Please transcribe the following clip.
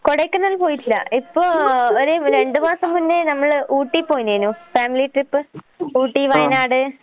കൊടൈക്കനാൽ പോയിട്ടില്ല. ഇപ്പൊ ഒരു രണ്ട് മാസം മുന്നേ നമ്മള് ഊട്ടി പോയിന്നേനു ഫാമിലി ട്രിപ്പ്. ഊട്ടി വയനാട്.